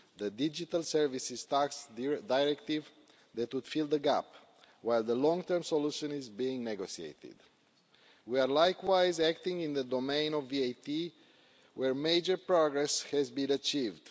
The digital services tax directive would fill the gap while the long term solution is being negotiated. We are likewise acting in the domain of VAT, where major progress has been achieved.